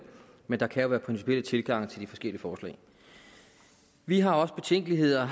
men der kan være principielle tilgange til de forskellige forslag vi har også betænkeligheder